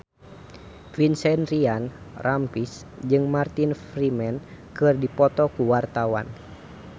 Vincent Ryan Rompies jeung Martin Freeman keur dipoto ku wartawan